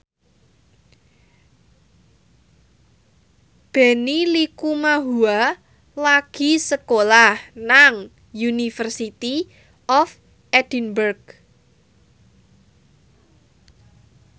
Benny Likumahua lagi sekolah nang University of Edinburgh